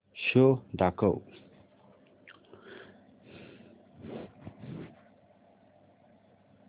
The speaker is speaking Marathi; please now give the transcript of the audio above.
शो दाखव